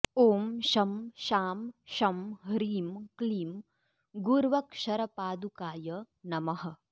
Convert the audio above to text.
ॐ शं शां षं ह्रीं क्लीं गुर्वक्षरपादुकाय नमः